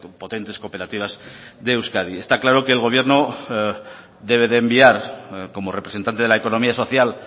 potentes cooperativas de euskadi está claro que el gobierno debe de enviar como representante de la economía social